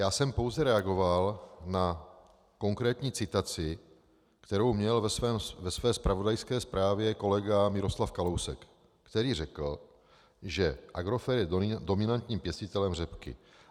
Já jsem pouze reagoval na konkrétní citaci, kterou měl ve své zpravodajské zprávě kolega Miroslav Kalousek, který řekl, že Agrofert je dominantním pěstitelem řepky.